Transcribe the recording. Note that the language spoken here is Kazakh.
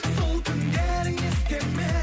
сол түндерің есте ме